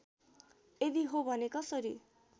यदि हो भने कसरी